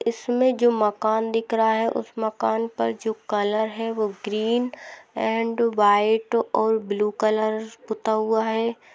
इसमें जो मकान दिख रहा है उस मकान जो कलर है वो ग्रीन एंड वाइट् और ब्लू कलर पूता है।